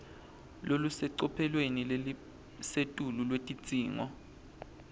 lolusecophelweni lelisetulu lwetidzingo